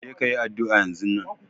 Je ka yi addu'a yanzun!